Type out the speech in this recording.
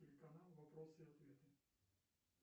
телеканал вопросы и ответы